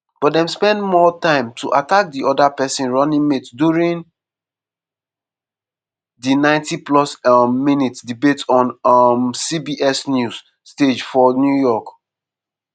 but dem spend more time to attack di oda pesin running mate during di 90-plus um minutes debate on um cbs news stage for new york.